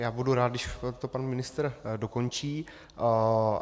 Já budu rád, když to pan ministr dokončí.